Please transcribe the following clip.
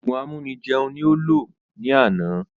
Òògùn amúni jẹun ní ó lò ní àná